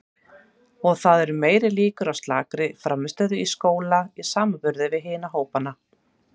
Og það eru meiri líkur á slakri frammistöðu í skóla í samanburði við hina hópana.